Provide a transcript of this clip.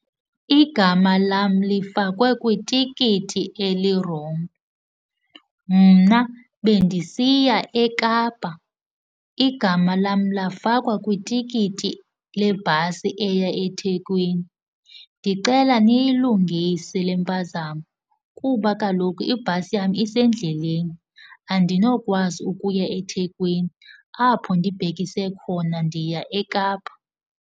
Igama lam lifakwe kwitikiti elirongo. Mna bendisiya eKapa, igama lam lafakwa kwitikiti lebhasi eya eThekwini. Ndicela niyilungise le mpazamo kuba kaloku ibhasi yam isendleleni. Andinokwazi ukuya eThekwini apho ndibhekise khona ndiya eKapa.